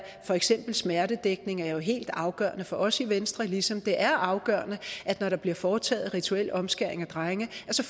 for eksempel smertedækning er helt afgørende for os i venstre ligesom det er afgørende at når der bliver foretaget rituel omskæring af drenge